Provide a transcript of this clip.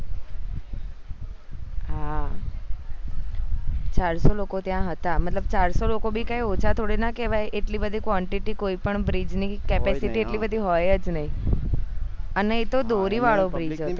હા ચારસો લોકો હતા ત્યાં મતલબ ચારસો લોકો ભી કય ઓછા થોડી ના કેવાય એટલી બધી quantity કોઈ પણ bridge ની capacity એટલી બધી હોઈજ નય અને એ તો દોરી વાળો bridge હતો